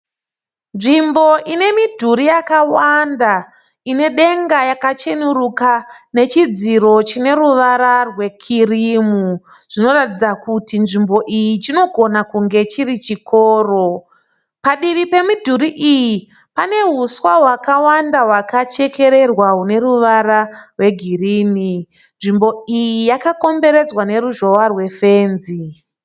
Nzvimbo ine midhuri yakwanda ine denga yakachenuruka nechidziro chine ruvara rwekirimu zvinotaridza kuti nzvimbo iyi chinogona kunge chiri chikoro. Padivi pemidhuri iyi pane huswa hwakawanda hwakakachekererwa rune ruvara rwe girinhi nzvimbo iyi yakakakomberedzwa neruzhihwa rwefenzi